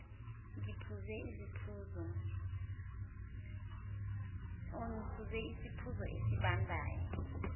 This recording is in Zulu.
ngiphuze isiphuzo esibandayo